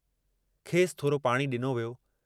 खेसि थोरो पाणी डिनो वियो।